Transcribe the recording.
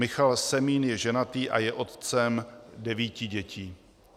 Michal Semín je ženatý a je otcem devíti dětí.